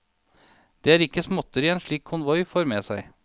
Det er ikke småtteri en slik konvoi får med seg.